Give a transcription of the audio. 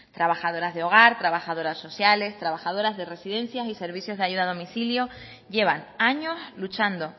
trabajadoras de hogar trabajadoras sociales trabajadoras de residencias y de servicios de ayuda a domicilio llevan años luchando